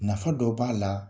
Nafa dɔ b'a la,